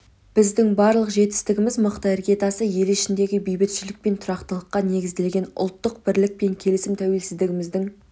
біздің барлық жетістігіміз мықты іргетасқа ел ішіндегі бейбітшілік пен тұрақтылыққа негізделген ұлттық бірлік пен келісім тәуелсіздігіміздің